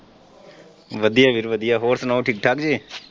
ਵਧੀਆ ਵੀਰ ਵਧੀਆ ਹੋਰ ਸੁਣਾਉ ਠੀਕ ਠਾਕ ਜੇ।